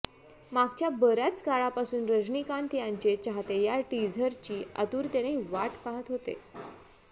मागच्या बऱ्याच काळापासून रजनीकांत यांचे चाहते या टीझरची आतुरतेनं वाट पाहत होते